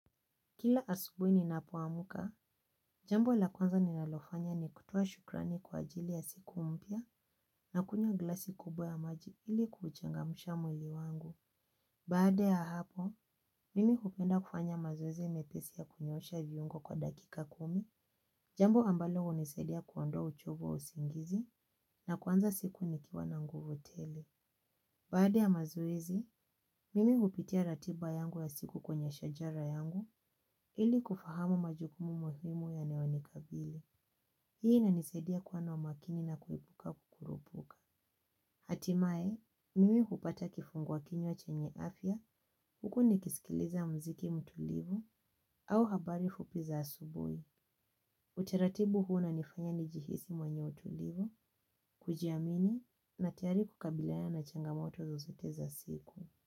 Kila asubuhi ninapoamka, jambo la kwanza ninalofanya ni kutoa shukrani kwa ajili ya siku mpya nakunywa glasi kubwa ya maji ili kuchangamsha mwili wangu. Baada ya hapo, mimi hupenda kufanya mazoezi mepesi ya kunyoosha viungo kwa dakika kumi, jambo ambalo hunisaidia kuondoa uchovu wa usingizi na kuanza siku nikiwa na nguvu tele. Baada ya mazoezi, mimi hupitia ratiba yangu ya siku kwenye shajara yangu ili kufahamu majukumu muhimu yanayonikabili. Hii inanisaidia kuwa na umakini na kuepuka kukurupuka. Hatimaye, mimi hupata kifungua kinywa chenye afya huku nikisikiliza mziki mtulivu au habari fupi za asubuhi. Utaratibu huu unanifanya nijihisi mwenye utulivu, kujiamini na tayari kukabiliana na changamoto zozote za siku.